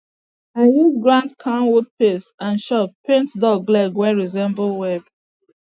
i use ground camwood paste and chalk paint duck leg wey resemble web